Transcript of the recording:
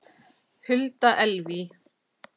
Hulda Elvý.